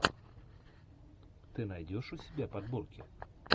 ты найдешь у себя подборки